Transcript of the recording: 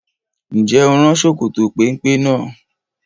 Ǹjẹ́ o rán Sokoto péńpé náà?